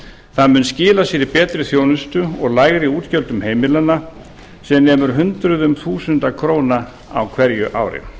það mun skila sér í betri þjónustu og lægri útgjöldum heimilanna sem nemur hundruðum þúsund króna á hverju ári